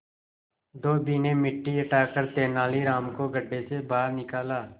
धोबी ने मिट्टी हटाकर तेनालीराम को गड्ढे से बाहर निकाला